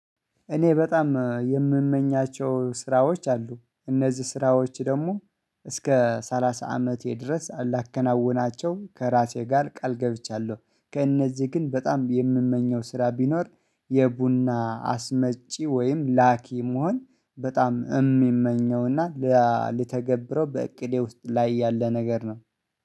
እኔ በጣም የምመኛቸው ስራዎች አሉ እነዚህ ስራዎች ደግሞ እስከ ሰላሳ አመቴ ድረስ ላከናውናቸው ከራሴ ጋር ቃል ገብቻለሁ። ከእነዚህ ግን በጣም የምመኘው ስራ ቢኖር የቡና አስመጪ ወይም ላኪ መሆን በጣም የሚመኘው እና ለተገብረው በእቅዴ ውስጥ ላይ ያለ ነገር ነው